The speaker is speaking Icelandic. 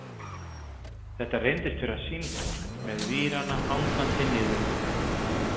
Þetta reyndist vera símtól, með vírana hangandi niður úr.